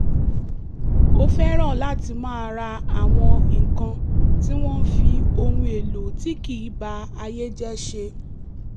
ó fẹ́ràn láti máa ra àwọn nǹkan tí wọn fi ohun èlò tí kì í ba ayé jẹ́ ṣe